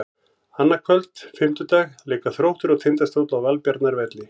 Annað kvöld, fimmtudag, leika Þróttur og Tindastóll á Valbjarnarvelli.